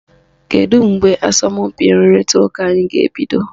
Kedu mgbe asọmpi nrụrịta ụka anyị ga-ebido?